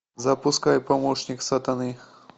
запускай помощник сатаны